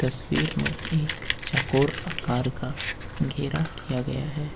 तस्वीर में एक चकोर आकार का घेरा किया गया है।